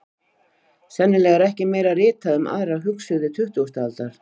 Sennilega er ekki meira ritað um aðra hugsuði tuttugustu aldar.